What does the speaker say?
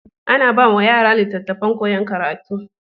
Ana bawa yara litattafan koyan karatu